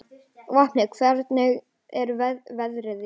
Vopni, hvernig er veðrið úti?